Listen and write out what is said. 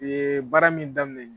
U yee baara min daminɛ nin ye